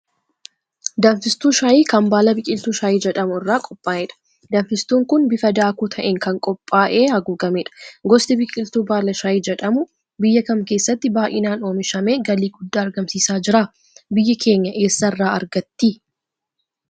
Danfistuu Shayii, kan baala biqiltuu shayii jedhamu irraa qophaa'edha. Danfistuun kun bifa daakuu ta'een kan qophaa'ee haguugamedha. Gosti biqiltuu baala shayii jedhamuu biyya kam keessatti baay'inaan oomishamee galii guddaa argamsiisaa jira? Biyyi keenya eessarraa argatti?